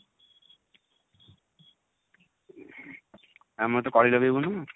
ଆଉ ମୋତେ କଳି ଲଗେଇବୁନୁ?